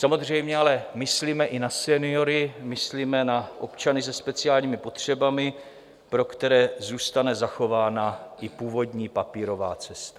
Samozřejmě ale myslíme i na seniory, myslíme na občany se speciálními potřebami, pro které zůstane zachována i původní papírová cesta.